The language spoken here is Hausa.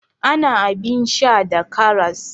Ana abin sha da karas.